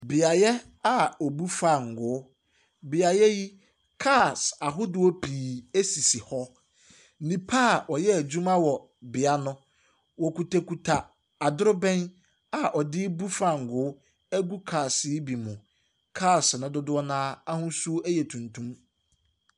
Beaeɛ a wɔbu fangoo. Beaeɛ yi, cars ahodoɔ pii sisi hɔ. Nnipa a wɔyɛ adwuma wɔ bea no, wɔkutakuta adorobɛn a wɔde bu fangoo agu cars yi bi mu. Cars no dodoɔ no ara ahosuo yɛ tuntum.